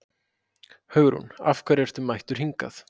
Hugrún: Af hverju ertu mættur hingað?